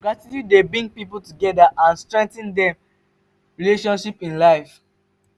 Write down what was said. gratitude dey bring people together and strengthen dem relationship in life.